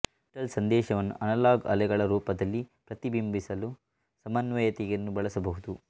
digital ಸಂದೇಶವನ್ನು analogue ಅಲೆಗಳ ರೂಪದಲ್ಲಿ ಪ್ರತಿ ಬಿಂಬಿಸಲು ಸಮನ್ವಯತೆಯನ್ನು ಬಳಸಬಹುದು